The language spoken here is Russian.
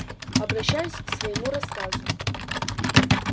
обращаюсь к своему рассказу